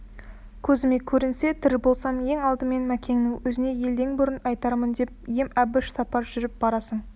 көзіме көрінсе тірі болсам ең алдымен мәкеннің өзіне елден бұрын айтармын деп ем әбіш сапар жүріп барасың